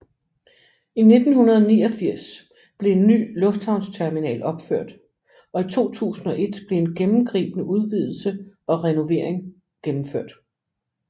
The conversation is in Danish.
I 1989 blev en ny lufthavnsterminal opført og i 2001 blev en gennemgribende udvidelse og renovering gennemført